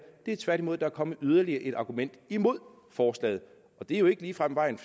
men tværtimod at der er kommet yderligere et argument imod forslaget og det er jo ikke ligefrem vejen